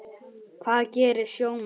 Hvað gera sjómenn þá?